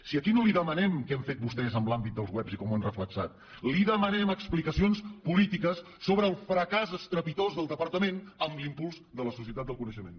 si aquí no li demanem què han fet vostès en l’àmbit dels webs i com ho han reflectit li demanem explicacions polítiques sobre el fracàs estrepitós del departament en l’impuls de la societat del coneixement